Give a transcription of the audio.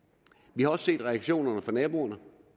vi har også set reaktionerne fra naboerne